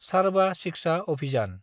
सारबा शिक्षा अभियान